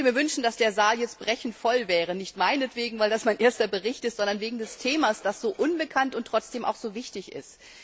Ich würde mir wünschen, dass der Saal jetzt brechend voll wäre, nicht meinetwegen, weil das mein erster Bericht ist, sondern wegen des Themas, das so unbekannt und trotzdem so wichtig ist.